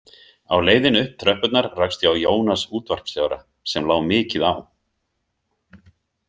Á leiðinni upp tröppurnar rakst ég á Jónas útvarpsstjóra, sem lá mikið á.